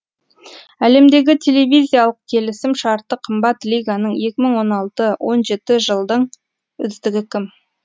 әлемдегі телевизиялық келісім шарты қымбат лиганың екі мың он алты он жеті жылдың үздігі кім